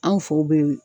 Anw few be